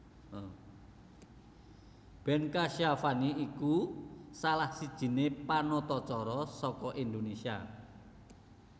Ben Kasyafani iku salah sijine panatacara saka Indonésia